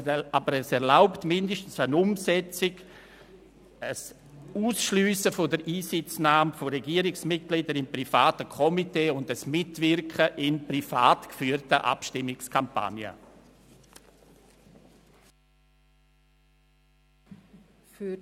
Es erlaubt zumindest den Ausschluss von Regierungsmitgliedern aus privaten Komitees und die Verhinderung des Mitwirkens in privat geführten Abstimmungskampagnen.